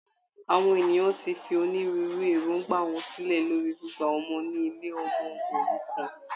Àwọn ènìyàn tí fi onírúurú èròngbà wọn sílẹ lórí gbígba ọmọ ní ilé ọmọ òrukàn